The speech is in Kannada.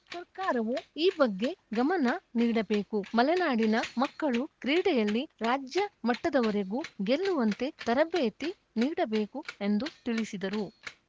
ಸರ್ಕಾರವು ಈ ಬಗ್ಗೆ ಗಮನ ನೀಡಬೇಕುಮಲೆನಾಡಿನ ಮಕ್ಕಳು ಕ್ರೀಡೆಯಲ್ಲಿ ರಾಜ್ಯ ಮಟ್ಟದವರೆಗೂ ಗೆಲ್ಲುವಂತೆ ತರಬೇತಿ ನೀಡಬೇಕು ಎಂದು ತಿಳಿಸಿದರು